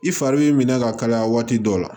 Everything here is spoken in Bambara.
I fari b'i minɛ ka kalaya waati dɔ la